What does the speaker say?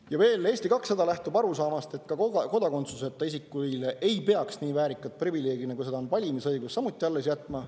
Ja veel, Eesti 200 lähtub arusaamast, et ka kodakondsuseta isikuile ei peaks nii väärikat privileegi, nagu seda on valimisõigus, alles jätma.